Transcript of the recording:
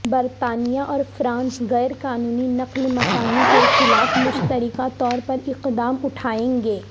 برطانیہ اور فرانس غیر قانونی نقل مکانی کے خلاف مشترکہ طور پر اقدام اٹھائیں گے